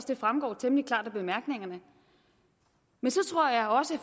det fremgår temmelig klart af bemærkningerne men så tror jeg også